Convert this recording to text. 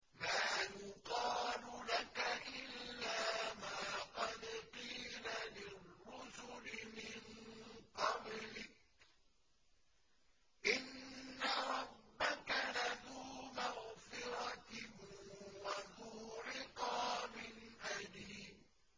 مَّا يُقَالُ لَكَ إِلَّا مَا قَدْ قِيلَ لِلرُّسُلِ مِن قَبْلِكَ ۚ إِنَّ رَبَّكَ لَذُو مَغْفِرَةٍ وَذُو عِقَابٍ أَلِيمٍ